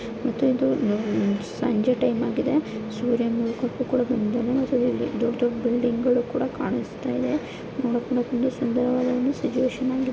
ಇದೊಂದು ಸಂಜೆ ಟೈಮ್ ಕೂಡ ಆಗಿದೆ ಸೂರ್ಯ ಮುಳುಗುತ್ತಿದ್ದಾನೆ ದೊಡ್ಡ ಬಿಲ್ಡಿಂಗ್ ಗಳು ಕಾಣಿಸ್ತಾ ಇದ್ದಾವೆ.